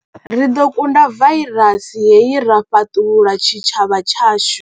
Ri ḓo kunda vairasi hei ra fhaṱulula tshitshavha tshashu.